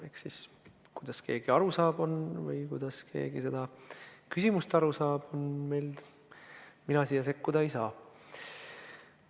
Eks kuidas keegi aru saab või kuidas keegi sellest küsimusest aru saab, mina siia sekkuda ei saa.